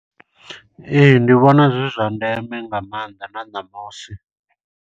Ee, ndi vhonazwi zwa ndeme nga maanḓa na ṋamusi.